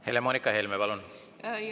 Helle-Moonika Helme, palun!